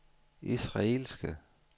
israelske